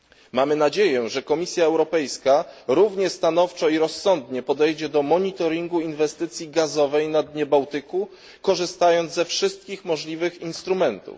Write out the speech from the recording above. Mamy nadzieję, że Komisja Europejska równie stanowczo i rozsądnie podejdzie do monitoringu inwestycji gazowej na dnie Bałtyku, korzystając ze wszystkich możliwych instrumentów.